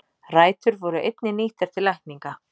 Rætur voru einnig nýttar til lækninga.